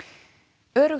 öruggt